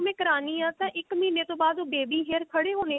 ਮੈਂ ਕਰਾਨੀ ਆ ਤਾਂ ਇੱਕ ਮਹੀਨੇ ਤੋਂ ਬਾਅਦ baby hair ਖੜੇ ਹੋਣੇ